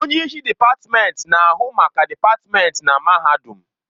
Onye isi dịpatmenti na-ahụ maka dịpatmenti na mahadum.